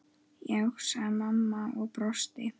Já, sagði mamma og brosti.